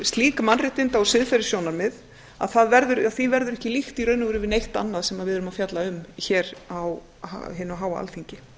slík mannréttinda og siðferðissjónarmið að því verður ekki líkt í raun og veru við neitt annað sem við erum að fjalla um hér á hinu háa alþingi